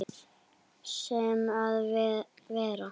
Sem er verra.